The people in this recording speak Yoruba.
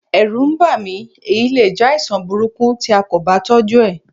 Ẹ̀rù ń bà mí, èyí le jẹ́ àìsàn burúkú tí a kò bá tọ́jú ẹ̀.